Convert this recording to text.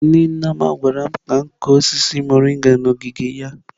Nne Nneoma gwara m ka m kụọ osisi mọrịnga n’ogige ya.